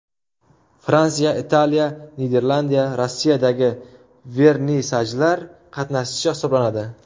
Fransiya, Italiya, Niderlandiya, Rossiyadagi vernisajlar qatnashchisi hisoblanadi.